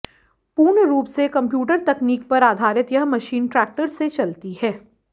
पूर्ण रूप से कंप्यूटर तकनीक पर आधारित यह मशीन ट्रैक्टर से चलती है